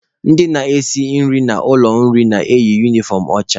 Ndị na-esi nri n'ụlọ nri na-eyi unifọm ọcha.